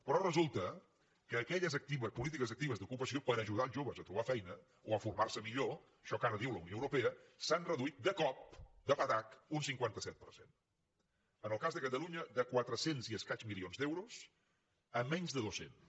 però resulta que aquelles polítiques actives d’ocupació per ajudar els joves a trobar feina o a formar se millor això que ara diu la unió europea s’han reduït de cop de patac un cinquanta set per cent en el cas de catalunya de quatre cents milions d’euros i escaig a menys de dos cents